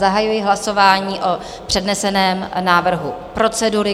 Zahajuji hlasování o předneseném návrhu procedury.